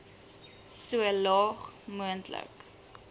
so laag moontlik